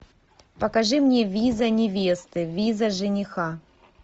покажи мне виза невесты виза жениха